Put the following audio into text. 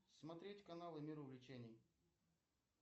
смотреть каналы мир увлечений